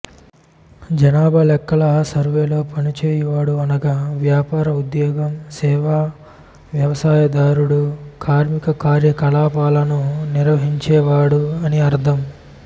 జనాభా లెక్కల సర్వేలో పనిచేయువాడు అనగా వ్యాపారం ఉద్యోగం సేవా వ్యవసాయదారుడు కార్మిక కార్యకలాపాలను నిర్వహించేవాడు అని అర్థం